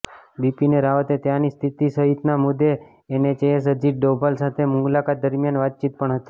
બિપીન રાવતે ત્યાંની સ્થિતિ સહિતના મુદ્દે એનએસએસ અજીત ડોભાલ સાથે મુલાકાત દરમિયાન વાતચીત પણ હતી